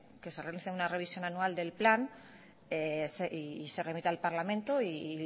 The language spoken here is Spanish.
que se realice una revisión anual del plan y se remita al parlamento y